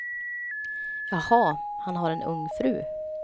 Jaha, han har en ung fru.